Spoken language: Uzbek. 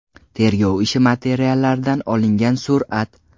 Tergov ishi materiallaridan olingan surat.